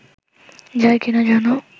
যায় কি না জানো